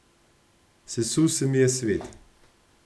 Sesul se mi je svet.